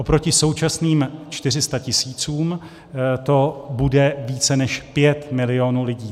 Oproti současným 400 tisícům to bude více než 5 milionů lidí.